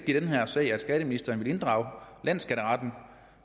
i den her sag at skatteministeren vil inddrage landsskatteretten